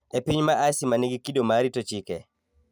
E piny Aceh ma nigi kido mar rito chike,